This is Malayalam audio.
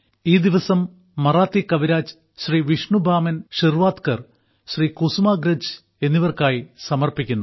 ഈ ദിവസം മറാത്തി കവിരാജ് ശ്രീ വിഷ്ണു ബാമൻ ഷിർവാദ്കർ ശ്രീ കുസുമാഗ്രജ് എന്നിവർക്കായി സമർപ്പിക്കുന്നു